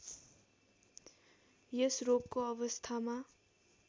यस रोगको अवस्थामा